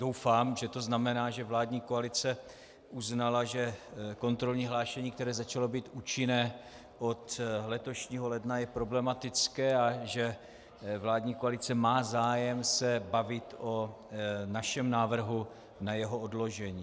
Doufám, že to znamená, že vládní koalice uznala, že kontrolní hlášení, které začalo být účinné od letošního ledna, je problematické a že vládní koalice má zájem se bavit o našem návrhu na jeho odložení.